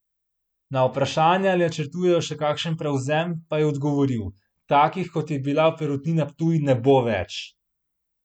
Na vprašanje, ali načrtujejo še kakšen prevzem, pa je odgovoril: "Takih, kot je bila Perutnina Ptuj, ne bo več.